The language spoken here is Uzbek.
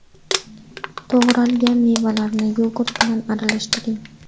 To‘g‘ralgan mevalarni yogurt bilan aralashtiring.